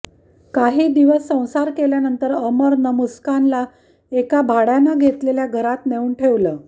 काही दिवस संसार केल्यानंतर अमरनं मुस्कानला एका भाड्यानं घेतलेल्या घरात नेऊन ठेवलं